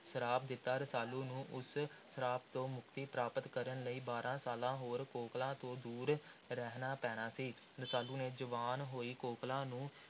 ਸਰਾਪ ਦਿੱਤਾ। ਰਸਾਲੂ ਨੂੰ ਉਸ ਸਰਾਪ ਤੋਂ ਮੁਕਤੀ ਪ੍ਰਾਪਤ ਕਰਨ ਲਈ ਬਾਰ੍ਹਾਂ ਸਾਲਾਂ ਹੋਰ ਕੋਕਲਾਂ ਤੋਂ ਦੂਰ ਰਹਿਣਾ ਪੈਣਾ ਸੀ ਰਸਾਲੂ ਨੇ ਜਵਾਨ ਹੋਈ ਕੋਕਲਾਂ ਨੂੰ